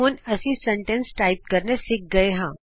ਹੁਣ ਅਸੀਂ ਵਾਕ ਟਾਈਪ ਕਰਨੇ ਸਿੱਖ ਲਏ ਹਾਂ